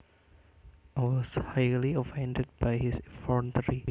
I was highly offended by his effrontery